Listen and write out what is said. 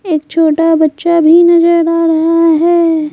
एक छोटा बच्चा भी निजर आ रहा है।